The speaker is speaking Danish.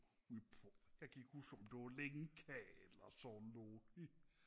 ude på jeg kan ikke huske om det var lingkal og sådan noget